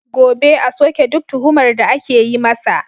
Gobe, a soke duk tuhumar da ake yi masa.